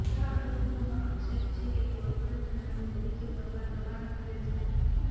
ગામ લોકોનો આક્ષેપ છે કે કોર્પોરેશન અહીં બગીચો કરવા દબાણ કરે છે